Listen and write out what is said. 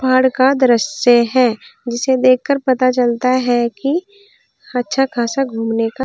पहाड़ का दृश्य है जिसे देख कर पता चलता है कि अच्छा खासा घूमने का--